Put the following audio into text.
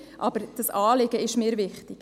Aber das Anliegen ist mir wichtig.